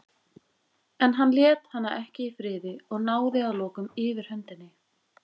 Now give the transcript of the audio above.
En hann lét hana ekki í friði og náði að lokum yfirhöndinni.